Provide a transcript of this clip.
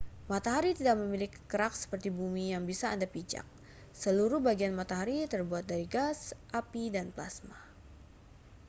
matahari tidak memiliki kerak seperti bumi yang bisa anda pijak seluruh bagian matahari terbuat dari gas api dan plasma